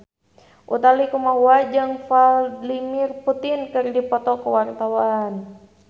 Utha Likumahua jeung Vladimir Putin keur dipoto ku wartawan